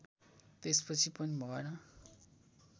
त्यसपछि पनि भएन